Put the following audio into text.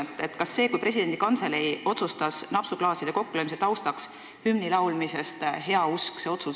Kas te nägite seda ründena, kui presidendi kantselei tegi heauskse otsuse loobuda napsuklaaside kokkulöömise taustal hümni laulmisest?